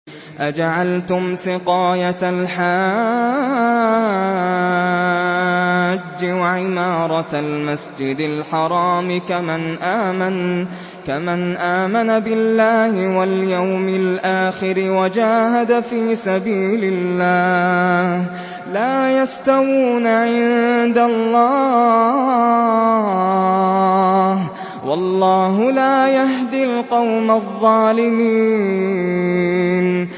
۞ أَجَعَلْتُمْ سِقَايَةَ الْحَاجِّ وَعِمَارَةَ الْمَسْجِدِ الْحَرَامِ كَمَنْ آمَنَ بِاللَّهِ وَالْيَوْمِ الْآخِرِ وَجَاهَدَ فِي سَبِيلِ اللَّهِ ۚ لَا يَسْتَوُونَ عِندَ اللَّهِ ۗ وَاللَّهُ لَا يَهْدِي الْقَوْمَ الظَّالِمِينَ